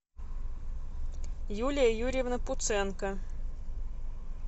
юлия юрьевна пуценко